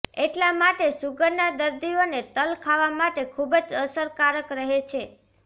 એટલા માટે સુગરના દર્દીઓને તલ ખાવા માટે ખૂબ જ અસરકારક રહે છે